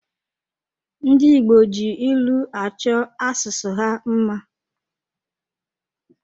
Ndi Igbo ji ịlụ achọ asụsụ ha mma